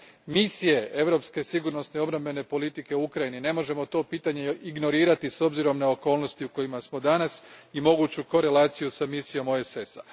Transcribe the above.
misije europske sigurnosne i obrambene politike u Ukrajini ne možemo to pitanje ignorirati s obzirom na okolnosti u kojima smo danas i moguću korelaciju s misijom OESS a.